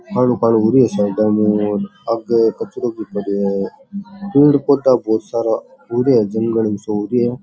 कालों कालों होरो है साइड में आगे कचरो भी पड़ो है पेड़ पौधा बहोत सारा होरा है जंगल सो हो रो है।